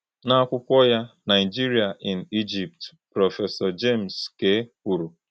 N’akwụkwọ ya Nigeria in Egypt, Prọfesọ James K. kwuru…